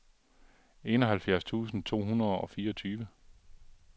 enoghalvfjerds tusind to hundrede og fireogtyve